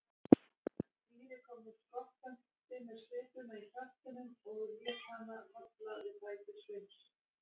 Týri kom nú skokkandi með svipuna í kjaftinum og lét hana falla við fætur Sveins.